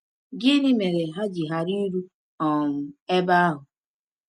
Gịnị mere ha ji ghara iru um ebe ahụ?